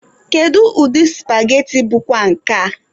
Kedụ ụdị supageti bụkwa nke a?